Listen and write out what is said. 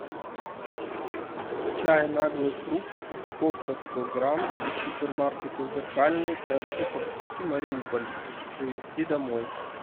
чай наглый фрукт упаковка сто грамм из супермаркета зеркальный трц порт сити мариуполь привезти домой